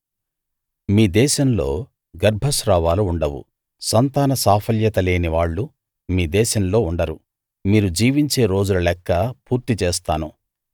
మీ దేశంలో గర్భస్రావాలు ఉండవు సంతాన సాఫల్యత లేని వాళ్ళు మీ దేశంలో ఉండరు మీరు జీవించే రోజుల లెక్క పూర్తి చేస్తాను